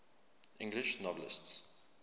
english novelists